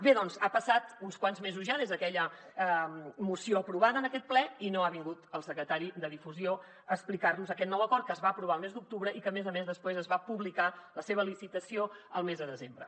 bé doncs han passat uns quants mesos ja des d’aquella moció aprovada en aquest ple i no ha vingut el secretari de difusió a explicar nos aquest nou acord que es va aprovar el mes d’octubre i que a més a més després es va publicar la seva licitació el mes de desembre